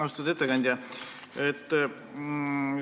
Austatud ettekandja!